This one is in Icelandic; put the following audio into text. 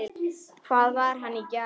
Hvar var hann í gær?